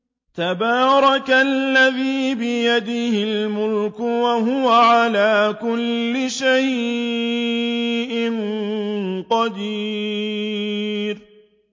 تَبَارَكَ الَّذِي بِيَدِهِ الْمُلْكُ وَهُوَ عَلَىٰ كُلِّ شَيْءٍ قَدِيرٌ